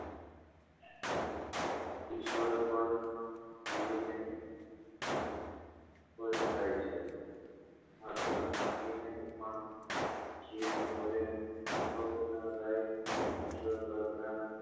ઈશ્વર પણ પછતાય છે માત્ર મોં થી નહી પણ જીભ વડે કોક નાં ગાય ઈશ્વર પ્રાર્થના